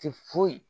Ti foyi